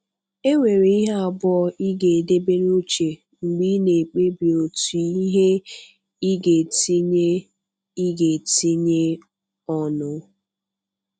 E nwere ihe abụọ ị ga-edebe n’uche mgbe ị na-ekpebi um otu ihe ị ga-etinye ị ga-etinye ọnụ